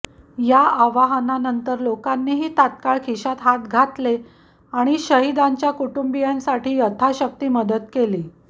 या आवाहनानंतर लोकांनीही तत्काळ खिशात हात घातले आणि शहिदांच्या कुटुंबीयांसाठी यथाशक्ती मदत केली